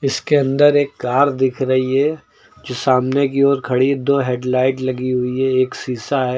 इसके अंदर एक कार दिख रही है जो सामने की ओर खड़ी दो हेडलाइट लगी हुई है एक शीशा है।